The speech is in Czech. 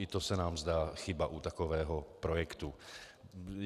I to se nám zdá chyba u takového projektu.